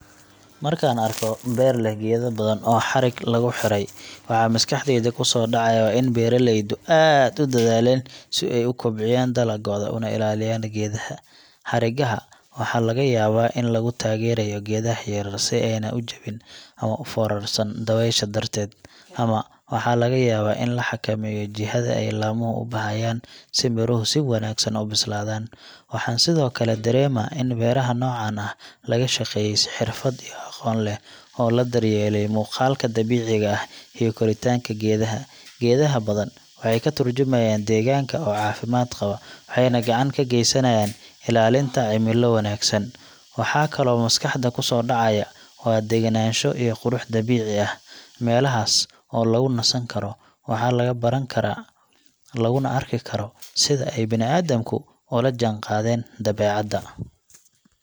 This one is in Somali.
Markaan arko beer leh geedo badan oo xarig lagu xidhay, waxa maskaxdayda ku soo dhacaya waa in beeraleydu aad u dadaaleen si ay u kobciyaan dalaggooda una ilaaliyaan geedaha. Xarigaha waxaa laga yaabaa in lagu taageerayo geedaha yaryar si aanay u jabin ama u foorarsan dabaysha darteed, ama waxaa laga yaabaa in la xakameynayo jihada ay laamuhu u baxayaan si midhuhu si wanaagsan u bislaadaan. Waxaan sidoo kale dareemaa in beeraha noocaan ah laga shaqeeyay si xirfad iyo aqoon leh, oo la daryeelay muuqaalka dabiiciga ah iyo koritaanka geedaha. Geedaha badan waxay ka tarjumayaan deegaanka oo caafimaad qaba, waxayna gacan ka geysanayaan ilaalinta cimilo wanaagsan. Waxa kaloo maskaxda ku soo dhacaya waa degganaansho iyo qurux dabiici ah – meelahaas oo lagu nasan karo, wax laga baran karo, laguna arki karo sida ay bini’aadamku ula jaanqaadeen dabeecadda.